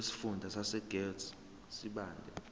wesifunda sasegert sibande